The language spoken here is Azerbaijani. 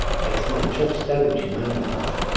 Əksinə çox istərdim ki, mənimlə qalasan.